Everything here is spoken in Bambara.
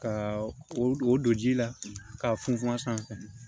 Ka o don ji la k'a funfun a sanfɛ